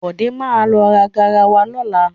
Bọ̀dé má lọ ra garawa lọ́la.